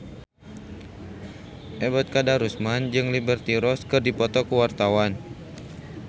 Ebet Kadarusman jeung Liberty Ross keur dipoto ku wartawan